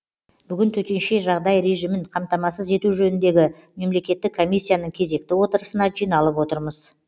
бүгін төтенше жағдай режимін қамтамасыз ету жөніндегі мемлекеттік комиссияның кезекті отырысына жиналып отырмыз